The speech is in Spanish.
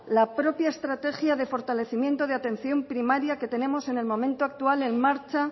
la propia estrategia de fortalecimiento de atención primaria que tenemos en el momento actual en marcha